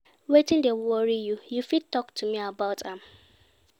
Wetin dey worry you, you fit talk to me about am?